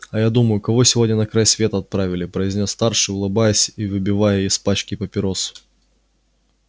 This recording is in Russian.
а я думаю кого сегодня на край света отправили произнёс старший улыбаясь и выбивая из пачки папиросу